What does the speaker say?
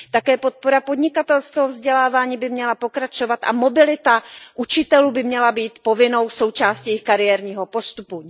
Také podpora podnikatelského vzdělávání by měla pokračovat a mobilita učitelů by měla být povinnou součástí jejich kariérního postupu.